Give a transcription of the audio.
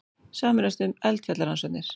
Sameinast um eldfjallarannsóknir